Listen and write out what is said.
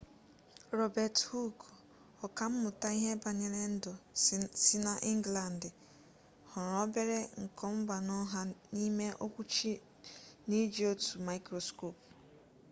robert hooke ọka mmụta ihe banyere ndụ si na ịnglandị hụrụ obere nkomgbaanonha n'ime okwuchi n'iji otu mikroskopu